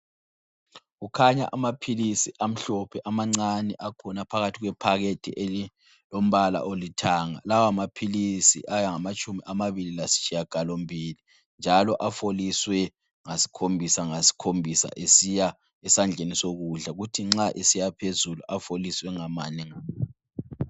Kukhanya amaphilisi amhlophe amancane akhona phakathi kwephakethi elilombala olithanga. Lawamaphilisi ayangamatshumi amabili lasitshiyagalombili, njalo afoliswe ngasikhombisa ngasikhombisa esiya esandleni sokudla, kuthi nxa esiya phezulu afoliswe ngamane ngamane.